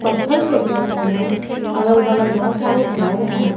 पत्थल फेक हुए हैं अगल बगल बहुत सारे घर हैं।